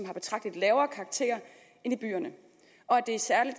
får betragteligt lavere karakterer end i byerne og at det i særlig